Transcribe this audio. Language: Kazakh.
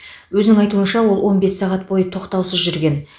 өзінің айтуынша ол он бес сағат бойы тоқтаусыз жүрген